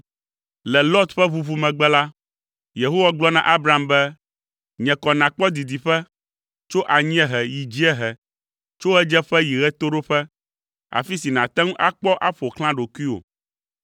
Le Lot ƒe ʋuʋu megbe la, Yehowa gblɔ na Abram be, “Nye kɔ nàkpɔ didiƒe, tso anyiehe yi dziehe, tso ɣedzeƒe yi ɣetoɖoƒe, afi si nàte ŋu akpɔ aƒo xlã ɖokuiwò,